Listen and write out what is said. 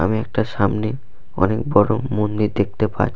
আমি একটা সামনে অনেক বড় মন্দির দেখতে পাই।